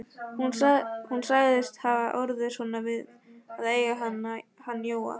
Hún sagðist hafa orðið svona við að eiga hann Jóa.